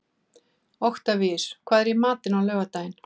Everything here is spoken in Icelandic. Oktavíus, hvað er í matinn á laugardaginn?